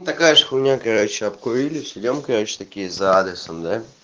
такая же хуйня короче обкурились идём короче такие за адресом да